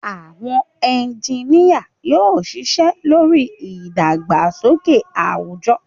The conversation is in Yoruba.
Àwọn ẹ́ńjìnìa yóò ṣiṣẹ́ lórí ìdàgbàsókè àwùjọ